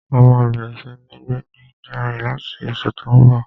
A máa bẹ̀rẹ̀ sí ní gbé ní GRA láti oṣù tó n bọ̀